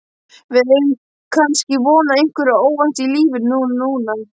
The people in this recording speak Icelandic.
Við eigum kannski von á einhverju óvæntu í lífinu núna?